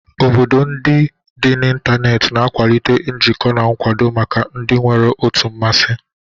Obodo ndị dị n'ịntanetị na-akwalite njikọ na nkwado maka ndị nwere otu mmasị.